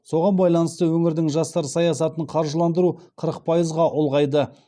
соған байланысты өңірдің жастар саясатын қаржыландыру қырық пайызға ұлғайды